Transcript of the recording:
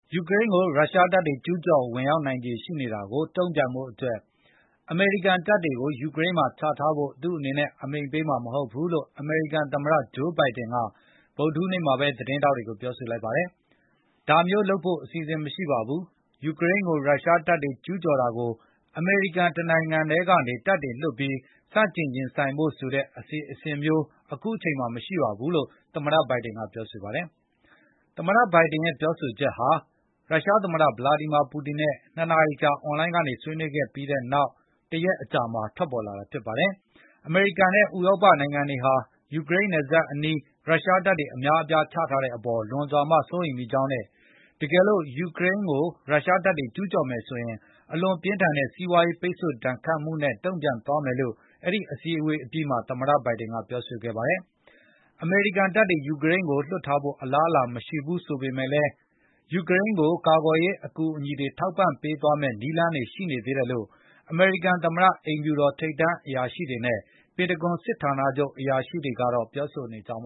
ယူကရိန်းကို ရုရှားတပ်တွေ ကျူးကျော်ဝင်ရောက်နိုင်ခြေ ရှိနေတာကို တုံ့ပြန်ဖို့အတွက် အမေရိကန်တပ်တွေကို ယူကရိန်းမှာ ချထားဖို့ သူ့အနေနဲ့ အမိန့်ပေးမှာ မဟုတ်ဘူးလို့ အမေရိကန်သမ္မတ Joe Biden က ဗုဒ္ဓဟူးနေ့မှာပဲ သတင်းထောက်တွေကို ပြောဆိုလိုက်ပါတယ်။ “ဒါမျိုးလုပ်ဖို့ အစီအစဉ် မရှိပါဘူး။ ယူကရိန်းကို ရုရှားတပ်တွေ ကျူးကျော်တာကို အမေရိကန် တနိုင်ငံတည်းကနေ တပ်တွေလွှတ်ပြီး ဆန့်ကျင်ရင်ဆိုင်ဖို့ဆိုတဲ့ အစီအစဉ်မျိုး အခုအချိန်မှာ မရှိပါဘူး။” လို့ သမ္မတ Biden က ပြောဆိုပါတယ်။ သမ္မတ Biden ရဲ့ ပြောဆိုချက်ဟာ ရုရှားသမ္မတ Vladimir Putin နဲ့ ၂ နာရီကြာ အွန်လိုင်းကနေ ဆွေးနွေးခဲ့ပြီး နောက်တရက်အကြာမှာ ထွက်ပေါ်လာတာ ဖြစ်ပါတယ်။ အမေရိကန်နဲ့ ဥရောပ မဟာမိတ်တွေဟာ ယူကရိန်းနယ်စပ်အနီး ရုရှားတပ်တွေ အများအပြား ချထားတဲ့အပေါ် လွန်စွာမှ စိုးရိမ်မိကြောင်းနဲ့ တကယ်လို့ ယူကရိန်းကို ရုရှားတပ်တွေ ကျူးကျော်မယ်ဆိုရင် အလွန်ပြင်းထန်တဲ့ စီးပွားရေး ပိတ်ဆို့ဒဏ်ခတ်မှုနဲ့ တုံ့ပြန်သွားမယ်လို့ အဲဒီအစည်းအဝေးအပြီးမှာ သမ္မတ Biden က ပြောဆိုခဲ့ပါတယ်။ အမေရိကန်တပ်တွေ ယူကရိန်းကိုလွှတ်ဖို့ အလားအလာမရှိဘူး ဆိုပေမယ့်လည်း ယူကရိန်းကို ကာကွယ်ရေး အကူအညီတွေ ထောက်ပံပေးသွားမယ့် နည်းလမ်းတွေ ရှိနေသေးတယ်လို့ အမေရိကန် သမ္မတအိမ်ဖြူတော် ထိပ်တန်းအရာရှိတွေနဲ့ ပင်တဂွန်စစ်ဌာနချုပ် အရာရှိတွေကတော့ ပြောဆိုနေပ